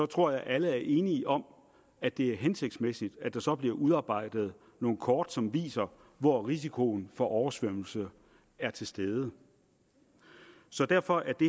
tror jeg at alle er enige om at det er hensigtsmæssigt at der så bliver udarbejdet nogle kort som viser hvor risikoen for oversvømmelse er til stede så derfor er det